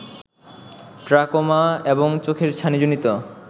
trachoma এবং চোখের ছানিজনিত